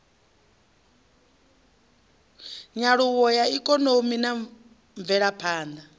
nyaluwo ya ikonomi na mvelaphanḓa